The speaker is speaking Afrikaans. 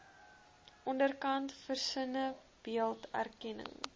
onderkant versinnebeeld erkenning